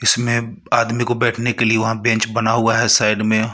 इसमें आदमी को बैठने के लिए वहां बेंच बना हुआ है साइड में.